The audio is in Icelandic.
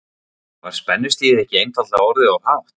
Var spennustigið ekki einfaldlega orðið of hátt?